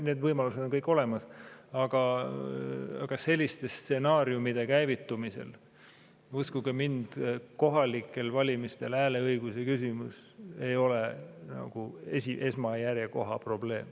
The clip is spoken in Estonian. Need võimalused on kõik olemas, aga selliste stsenaariumide käivitumisel, uskuge mind, kohalikel valimistel hääleõiguse küsimus ei ole järjekorras esimesel kohal olev probleem.